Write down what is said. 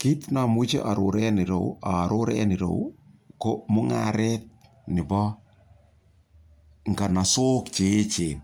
Kit ne amuchi aaror en ere yu ko mung'aret nepo nganasok che che echen.